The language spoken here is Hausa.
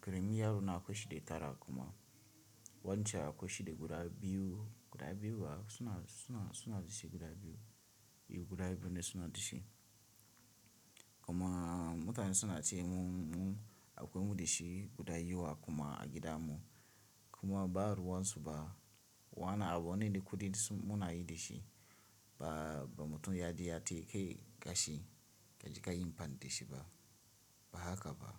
karamin yarona akwai shi de tara kuma wancan akwai shi de guda biyu guda biyu a suna suna suna da shi guda biyu eh guda biyu ne suna da shi kuma mutane suna ce mun akwai mu da shi guda yiwu a kuma a gida mu kuma ba ruwan su ba wana abu ne da kuɗi munayi da shi ba ba mutum ya ji ya ce kai gashi kaji ka yim ban da shi ba ba haka ba.